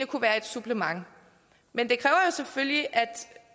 kunne være et supplement men det kræver selvfølgelig at